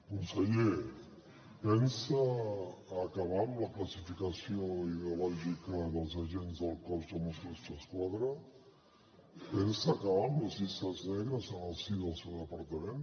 conseller pensa acabar amb la classificació ideològica dels agents del cos de mossos d’esquadra pensa acabar amb les llistes negres en el si del seu departament